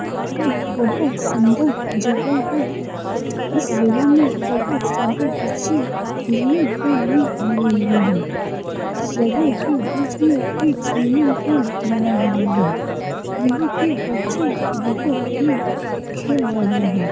यह एक बहुत सुंदर जगह है। इस जगह में बोहोत सारे बच्चे खलेने के लिए आये हुए है। इस जगह के बिच में एक स्विमिंग पूल बना हुआ है। यहाँ पे बच्चे बहुत ही खेल रहे है।